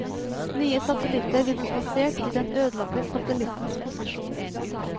Nye satellitter vil bli plasert i den ødelagte satellittens posisjon.